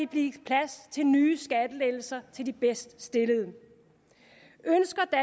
blive plads til nye skattelettelser til de bedst stillede